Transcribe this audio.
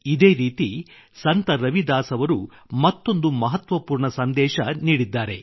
ಇದೇ ರೀತಿ ಸಂತ ರವಿದಾಸ್ ಅವರು ಮತ್ತೊಂದು ಮಹತ್ವಪೂರ್ಣ ಸಂದೇಶ ನೀಡಿದ್ದಾರೆ